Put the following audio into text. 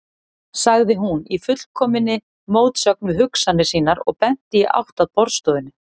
sagði hún, í fullkominni mótsögn við hugsanir sínar og benti í átt að borðstofunni.